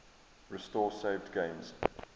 restore saved games